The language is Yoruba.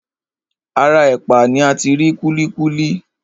Ara ẹ̀pà ni ati rí kúlíkúlí.